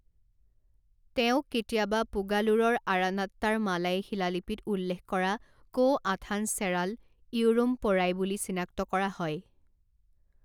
তেওঁক কেতিয়াবা পুগালুৰৰ আৰানাত্তাৰ মালাই শিলালিপিত উল্লেখ কৰা কো আথান চেৰাল ইৰুম্পোৰাই বুলি চিনাক্ত কৰা হয়।